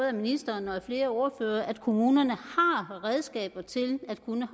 af ministeren og af flere ordførere at kommunerne har redskaber til at kunne